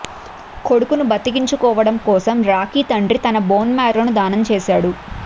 కొడుకును బతికించుకోవడం కోసం రాకీ తండ్రి తన బోన్ మారోను దానం చేశాడు